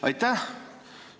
Aitäh!